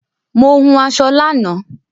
Mo hun aṣọ lánàá